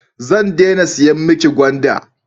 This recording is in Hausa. Zan dena siyan mi ki gwanda